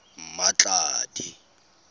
mmatladi